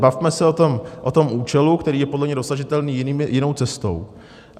Bavme se o tom účelu, který je podle mne dosažitelný jinou cestou.